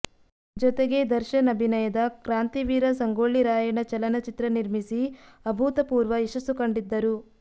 ಜೊತೆಗೆ ದರ್ಶನ ಅಭಿನಯದ ಕ್ರಾಂತಿವೀರ ಸಂಗೊಳ್ಳಿ ರಾಯಣ್ಣ ಚಲನ ಚಿತ್ರ ನಿರ್ಮಿಸಿ ಅಭೂತ ಪೂರ್ವ ಯಶಸ್ಸು ಕಂಡಿದ್ದರು